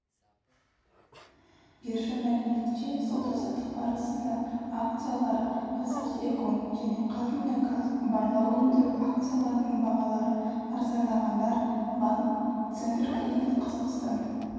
биржа мәліметінше сауда-саттық барысында акциялары қазақтелеком және қазмұнайгаз барлау өндіру акцияларының бағалары арзандағандар банк центркредит қазақстан